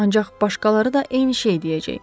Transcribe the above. Ancaq başqaları da eyni şey deyəcək.